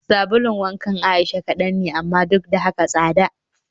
Sabulun wankan Aisha kadan ne amma duk da haka tsada